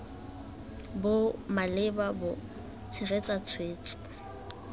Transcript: bo maleba bo tshegetsa tshwetso